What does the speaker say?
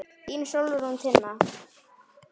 Þín Sólrún Tinna.